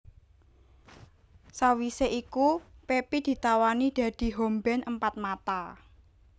Sawisé iku Pepi ditawani dadi home band Empat Mata